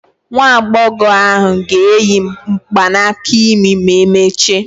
Nwa agbọghọ ahụ ga-eyi mgbanaka imi ma emechaa.